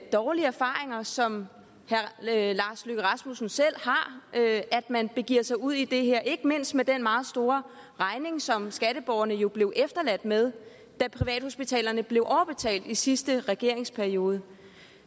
dårlige erfaringer som herre lars løkke rasmussen selv har at man begiver sig ud i det her ikke mindst efter den meget store regning som skatteborgerne jo blev efterladt med da privathospitalerne blev overbetalt i sidste regeringsperiode